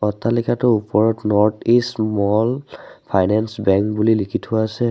অট্টালিকাটোৰ ওপৰত north east small finance bank বুলি লিখি থোৱা আছে।